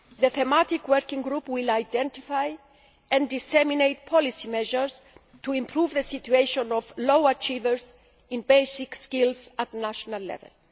The thematic working group will identify and disseminate policy measures to improve the situation of low achievers in basic skills at national